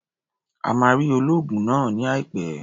O máa rí olóògùn náà ní àìpẹ́.